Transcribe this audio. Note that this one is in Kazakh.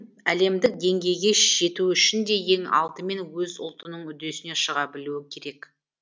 әлемдік деңгейге жету үшін де ең алдымен өз ұлтының үдесінен шыға білуі керек